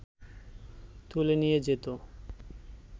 তুলে নিয়ে যেত